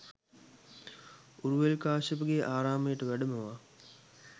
උරුවෙල් කාශ්‍යපගේ ආරාමයට වැඩමවා